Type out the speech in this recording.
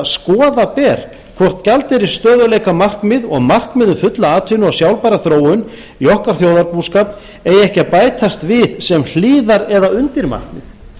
skoða ber hvort gjaldeyrisstöðugleikamarkmið og markmið um fulla atvinnu og sjálfbæra þróun í okkar þjóðarbúskap eigi ekki að bætast við sem hliðar eða undirmarkmið